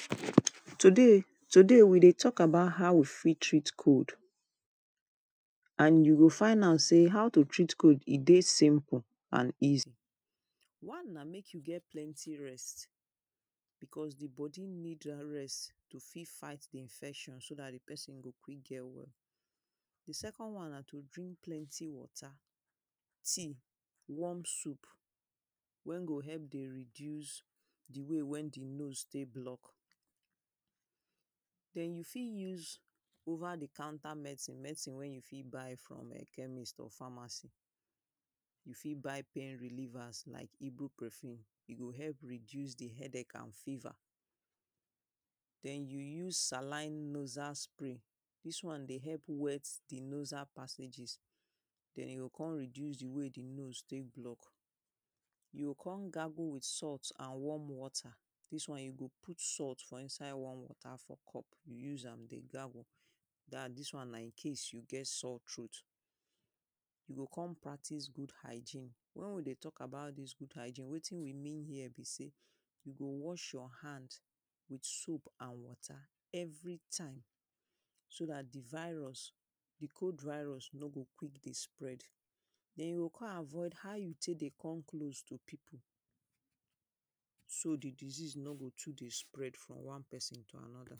Today, today we dey talk about how we fit treat cold. And you go find out sey, how to treat cold e dey simple and easy. One na make you get plenty rest because the body need dat rest to fit fight infection so dat the person go quick get well. The second one na to drink plenty water, tea warm soup wey go help dey reduce the way when the nose take block. Den you fit use over the counter medicine. Medicine wey you fit buy from chemist or pharmacy. You fit buy pain reliever like ibuprofen. E go help reduce the headache and fever. Den you use saline nasal spray. Dis one dey help wet the nasal passages. Den e go con reduce the way the nose take block. You go con gargle with salt and warm water. Dis one, you go put salt for inside warm water for cup. Use am dey gargle. Dat dis one na incase you get sour throat. You go con practice good hygeine. When we dey talk about dis good hygeine, wetin we mean here be sey you go wash your hand with soap and water everytime. So dat the virus, the cold virus no go quick dey spread. Den you go con avoid how you take dey come close to people. So the disease no go too dey spread from one person to another.